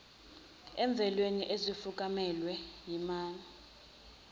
emvelweni ezifukanyelwe yinema